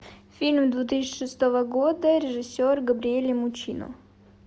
фильм две тысячи шестого года режиссер габриэле муччино